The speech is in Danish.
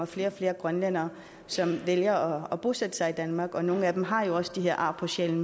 flere og flere grønlændere som vælger at bosætte sig i danmark og nogle af dem har også de her ar på sjælen